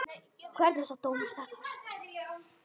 Hvernig sá dómarinn þetta?